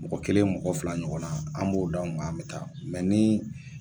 Mɔgɔ kelen mɔgɔ fila ɲɔgɔnna an b'o dan ga an bi taa ni